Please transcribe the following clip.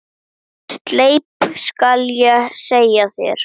Sleip skal ég segja þér.